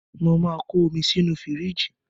Mo máa ko omi sínú fíríjì